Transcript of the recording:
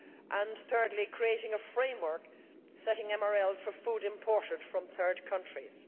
and, thirdly, creating a framework setting MRLs for food imported from third countries.